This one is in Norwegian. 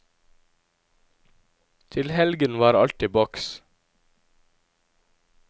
Til helgen var alt i boks.